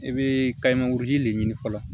I bɛ kayimanguru de ɲini fɔlɔ